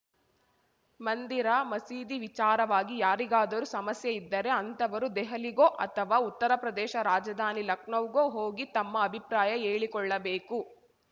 ಮಂದಿರ ಮಸೀದಿ ವಿಚಾರವಾಗಿ ಯಾರಿಗಾದರೂ ಸಮಸ್ಯೆ ಇದ್ದರೆ ಅಂಥವರು ದೆಹಲಿಗೋ ಅಥವಾ ಉತ್ತರಪ್ರದೇಶ ರಾಜಧಾನಿ ಲಖನೌಗೋ ಹೋಗಿ ತಮ್ಮ ಅಭಿಪ್ರಾಯ ಹೇಳಿಕೊಳ್ಳಬೇಕು